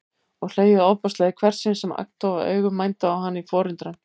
Og hlegið ofboðslega í hvert sinn sem agndofa augu mændu á hana í forundran.